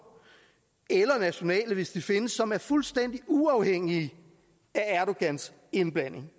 eller nationale hvis de findes som er fuldstændig uafhængige af erdogans indblanding